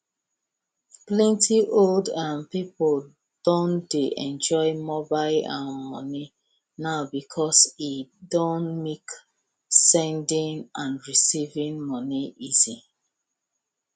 plenty old um people don dey enjoy mobile um money now because e don make sending and receiving money easy